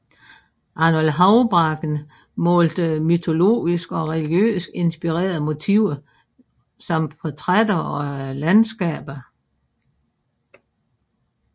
Arnold Houbraken malede mytologisk og religiøst inspirerede motiver samt portrætter og landskaber